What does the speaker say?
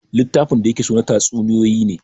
Littafin da ya ke so na tatsuniyoyi ne